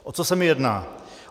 O co se mi jedná?